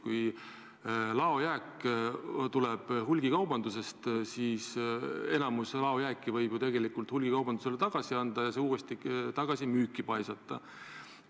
Kui laojääk tuleb hulgikaubandusest, siis enamiku laojääki võib ju hulgikaubandusele tagasi anda ja selle uuesti tagasi müüki paisata.